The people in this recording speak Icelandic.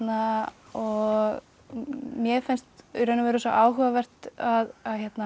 og mér finnst í raun og veru svo áhugavert að